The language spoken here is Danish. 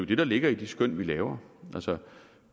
det der ligger i de skøn vi laver altså